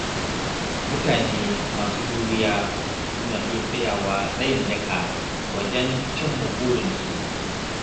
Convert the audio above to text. Mutane masu juriya suna iya tsayawa tsayin daka wajen cimma burinsu.